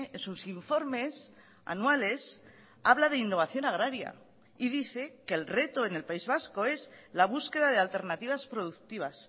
en sus informes anuales habla de innovación agraria y dice que el reto en el país vasco es la búsqueda de alternativas productivas